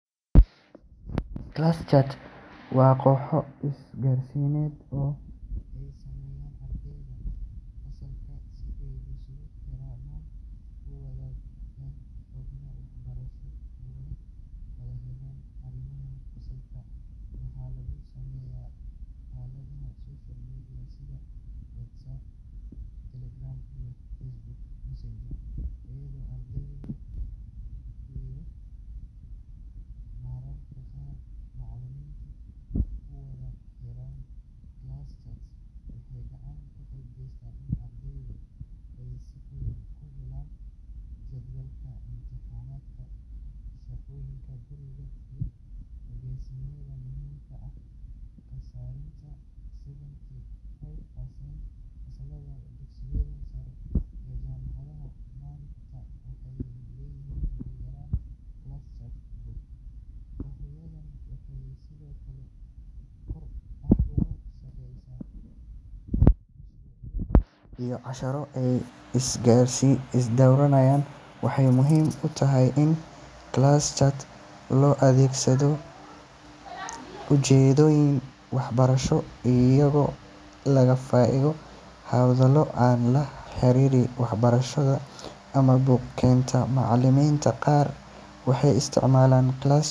Class chats waa kooxo isgaarsiineed oo ay sameeyaan ardayda fasalka si ay isugu xirmaan, u wadaagaan xogta waxbarasho, ugana wada hadlaan arrimaha fasalka. Waxaa lagu sameeyaa aaladaha social media sida WhatsApp, Telegram, iyo Facebook Messenger, iyadoo ardayda iyo mararka qaar macallimiintu ku wada xiriiraan. Class chats waxay gacan ka geystaan in ardaydu ay si fudud ku helaan jadwalka imtixaannada, shaqooyinka guriga, iyo ogeysiisyada muhiimka ah. Qiyaastii seventy five percent fasallada dugsiyada sare iyo jaamacadaha maanta waxay leeyihiin ugu yaraan hal class chat group. Kooxahani waxay sidoo kale kor u qaadaan iskaashiga ardayda, iyagoo si wadajir ah uga shaqeeya mashruucyo iyo casharro ay isweydaarsadaan. Waxaa muhiim ah in class chat loo adeegsado ujeeddooyin waxbarasho, iyadoo laga fogaado hadallo aan la xiriirin waxbarashada ama buuq keena. Macallimiinta qaar waxay isticmaalaan class chats.